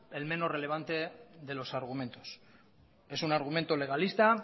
el menos revelante de los argumentos es un argumento legalista